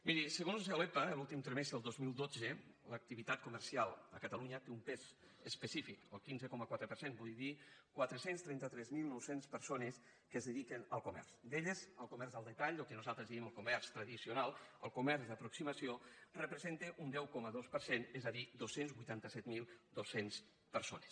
miri segons l’epa l’últim trimestre del dos mil dotze l’activitat comercial a catalunya té un pes específic el quinze coma quatre per cent vull dir quatre cents i trenta tres mil nou cents persones que es dediquen al comerç d’elles el comerç al detall el que nosaltres en diem el comerç tradicional el comerç d’aproximació representa un deu coma dos per cent és a dir dos cents i vuitanta set mil dos cents persones